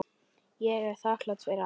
Ég er þakklát fyrir allt.